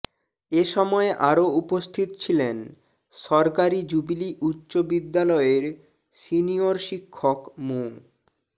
এ সময় আরো উপস্থিত ছিলেন সরকারি জুবিলী উচ্চ বিদ্যালয়ের সিনিয়র শিক্ষক মো